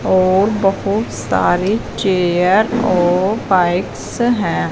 और बहोत सारे चेयर और पाइप्स है।